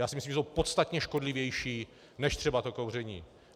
Já si myslím, že jsou podstatně škodlivější než třeba to kouření.